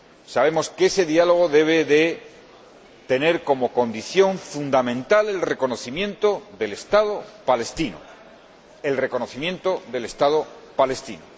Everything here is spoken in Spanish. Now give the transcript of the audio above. Sabemos que ese diálogo debe tener como condición fundamental el reconocimiento del Estado palestino.